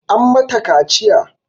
An mata kaciya